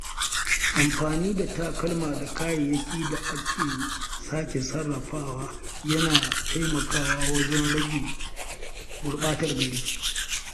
Amfani da takalma da kayayyakin da aka sake sarrafawa yana taimakawa wajen rage gurɓatar gari.